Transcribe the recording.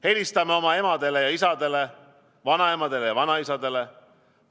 Helistame oma emadele ja isadele, vanaemadele ja vanaisadele!